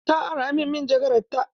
Ta ara min manjagarar ta.